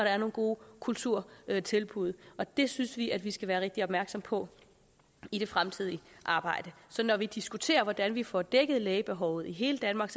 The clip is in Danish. er nogle gode kulturtilbud og det synes vi at vi skal være rigtig opmærksomme på i det fremtidige arbejde så når vi diskuterer hvordan vi får dækket lægebehovet i hele danmark